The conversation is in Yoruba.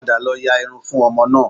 Padà lọ ya irun fún ọmọ náà